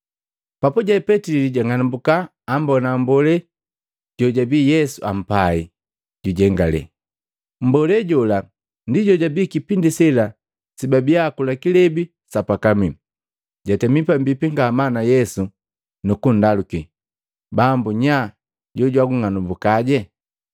Papuje Petili jang'anambuka, ambona mmbolee jojabii Yesu ampai, jujengalee, mmbolee jola ndi jojabii kipindi sela sebabiya bakakula kilebi sa pakamii, jatemi pambipi ngamaa na Yesu nukundaluki, “Bambu nya jojwagung'anambuka?”